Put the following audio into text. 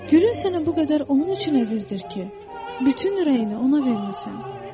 Gülün sənə bu qədər onun üçün əzizdir ki, bütün ürəyini ona vermisən.